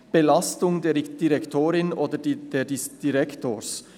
«Belastung der Direktorin oder des Direktors».